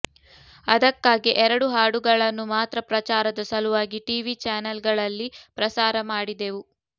ಅದಕ್ಕಾಗೇ ಎರಡು ಹಾಡುಗಳನ್ನು ಮಾತ್ರ ಪ್ರಚಾರದ ಸಲುವಾಗಿ ಟಿವಿ ಚಾನೆಲ್ಗಳಲ್ಲಿ ಪ್ರಸಾರ ಮಾಡಿದೆವು